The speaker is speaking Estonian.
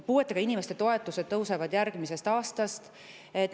Puuetega inimeste toetused tõusevad järgmisest aastast.